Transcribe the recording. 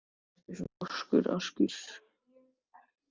Af hverju ertu svona þrjóskur, Askur?